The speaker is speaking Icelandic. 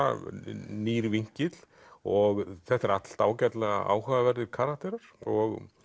nýr vinkill og þetta eru allt ágætlega áhugaverðir karakterar og